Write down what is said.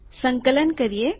સંકલન કરીએ